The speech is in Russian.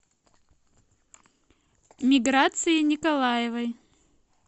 миграции николаевой